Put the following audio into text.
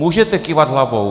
Můžete kývat hlavou.